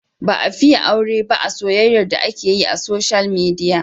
Ba a fiye aure ba a soyyayar da ake yi a soshiyal midiya.